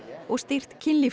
og stýrt kynlífs